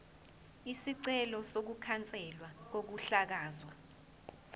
isicelo sokukhanselwa kokuhlakazwa